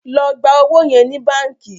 ló gbà owo yẹ ní bánkì!